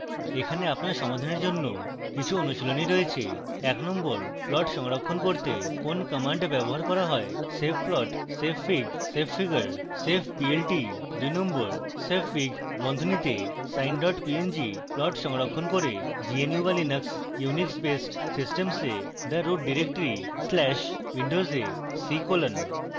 এখানে আপনার সমাধানের জন্য কিছু অনুশীলনী রয়েছে